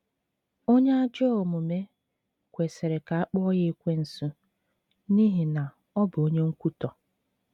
“ Onye ajọ omume ” kwesịrị ka a kpọọ ya Ekwensu, n’ihi na ọ bụ onye nkwutọ.